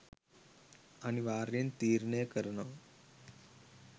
අනිවාර්යෙන් තීරණය කරනව